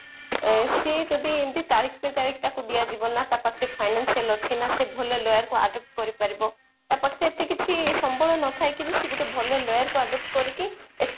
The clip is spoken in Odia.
ସେ ଯଦି ଏମିତି ତାରିଖ ପେ ତାରିଖ ତାକୁ ଦିଆଯିବ ନା ତା ପାଖେ financial ଅଛି ନା ସେ ଭଲ lawyer କୁ adopt କରି ପାରିବ ତା ପାଖେ ଏତେ କିଛି ସମ୍ବଳ ନଥାଏ କି ସେ ଗୋଟେ ଭଲ lawyer କୁ adopt କରିକି ଏତେ